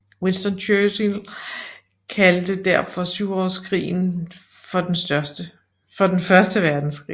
Winston Churchill kaldte derfor Syvårskrigen for den første verdenskrig